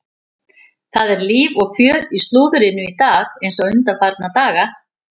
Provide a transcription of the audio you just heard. Það er líf og fjör í slúðrinu í dag eins og undanfarna daga.